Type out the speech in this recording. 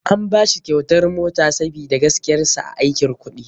An bashi kyautar mota sabida gaskiyar sa a aikin kuɗi.